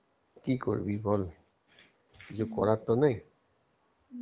কি করবি বল কিছু করার তো নেই.